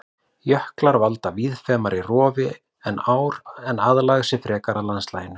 Jöklar valda víðfeðmara rofi en ár en aðlaga sig frekar landslaginu.